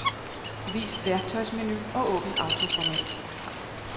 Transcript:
Vis værktøjsmenu og åbn autoformat.